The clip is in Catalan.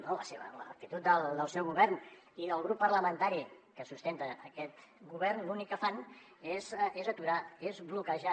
bé no amb la seva amb l’actitud del seu govern i del grup parlamentari que sustenta aquest govern l’únic que fan és aturar és bloquejar